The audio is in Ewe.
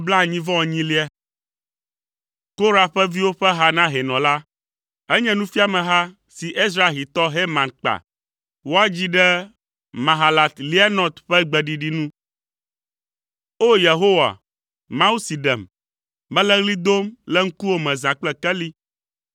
Korah ƒe viwo ƒe ha na hɛnɔ la. Enye nufiameha si Ezrahitɔ Heman kpa; woadzii ɖe Mahalat Leanot ƒe gbeɖiɖi nu. O! Yehowa, Mawu si ɖem, mele ɣli dom le ŋkuwò me zã kple keli.